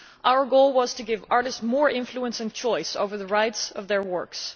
Our goal was to give artists more influence and choice over the rights to their works.